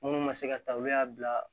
Munnu ma se ka ta olu y'a bila